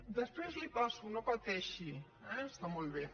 després l’hi passo no pateixi eh està molt bé